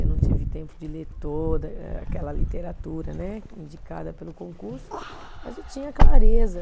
Eu não tive tempo de ler toda eh aquela literatura né, indicada pelo concurso, mas eu tinha clareza.